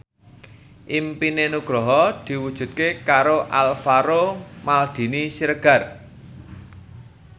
impine Nugroho diwujudke karo Alvaro Maldini Siregar